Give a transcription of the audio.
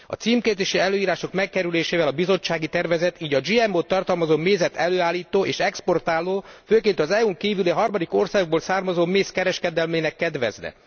A címkézési előírások megkerülésével a Bizottsági tervezet, így a GMO t tartalmazó mézet előállító és exportáló, főként az EU n kívüli, harmadik országokból származó méz kereskedelmének kedvezne.